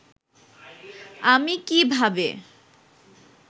আমি কি ভাবে